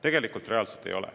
Tegelikult seda reaalselt ei ole.